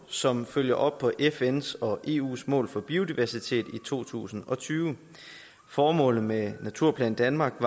som følger op på fns og eus mål for biodiversitet i to tusind og tyve formålet med naturplan danmark